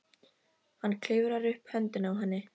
Hann klifrar upp á höndina á henni.